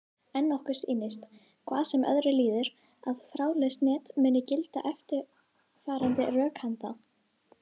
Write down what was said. En okkur sýnist, hvað sem öðru líður, að um þráðlaus net muni gilda eftirfarandi rökhenda: